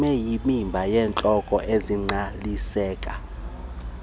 ibeyimiba yezihloko ezingqaliseka